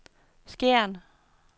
Skjern